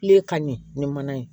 ka ɲɛ ni mana ye